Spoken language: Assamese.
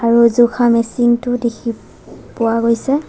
আৰু জোখা মেচিন টোও দেখি পোৱা গৈছে।